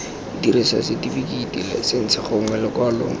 dirisang setifikeiti laesense gongwe lekwalo